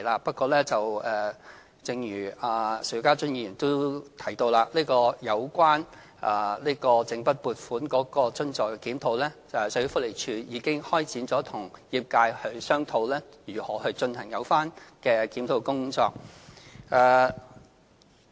不過，正如邵家臻議員也提到，有關整筆撥款津助的檢討，社會福利署已經開展與業界商討如何進行有關的檢討工作。